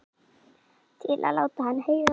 Til að láta hann heyra það?